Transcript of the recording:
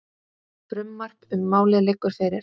Frumvarp um málið liggur fyrir.